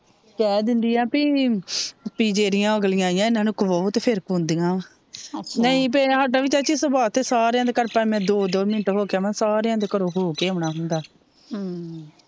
ਕਿਹ ਦਿੰਦੀ ਭੇਈ ਜੇੜੀਆ ਅਗਲੀਆਂ ਆਇਆ ਇਨਾਂ ਨੂੰ ਖਵਾਓ ਤੇ ਫਿਰ ਖਵਾਉਂਦਿਆ ਨੀ ਭੇਈ ਚਾਚੀ ਸਾਡਾ ਵੀ ਚਾਚੀ ਸੁਭਾਅ ਸਾਰਿਆ ਦੇ ਘਰ ਭਾਵੇ ਦੋ ਦੋ ਮਿੰਟ ਹੋਕੇ ਆਵਾ ਸਾਰਿਆ ਦੇ ਘਰੋਂ ਹੋਕੇ ਆਉਣ ਹੁੰਦਾ